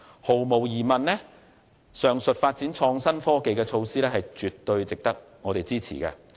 毫無疑問，上述發展創新科技的措施絕對值得我們支持。